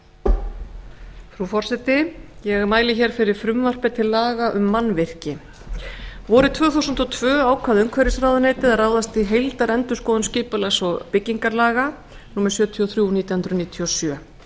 frú forseti ég mæli hér fyrir frumvarpi til laga um mannvirki vorið tvö þúsund og tvö ákvað umhverfisráðuneytið að ráðast í heildarendurskoðun skipulags og byggingarlaga númer sjötíu og þrjú nítján hundruð níutíu og sjö